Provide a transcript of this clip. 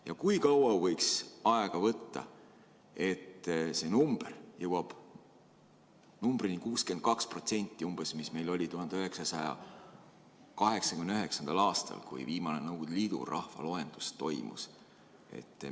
Ja kui kaua võiks aega võtta, et see number jõuaks numbrini 62%, mis meil oli 1989. aastal, kui toimus viimane Nõukogude Liidu rahvaloendus?